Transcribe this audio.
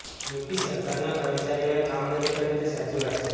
UP સરકારના કર્મચારીઓએ કામ નથી કર્યું તે સાચી વાત છે